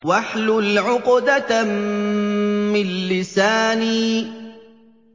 وَاحْلُلْ عُقْدَةً مِّن لِّسَانِي